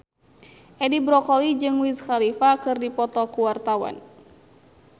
Edi Brokoli jeung Wiz Khalifa keur dipoto ku wartawan